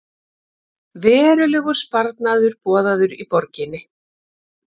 Verulegur sparnaður boðaður í borginni